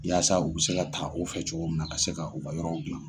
Yasa u bɛ se ka ta o fɛ cogo min na ka se ka u ka yɔrɔw gilan.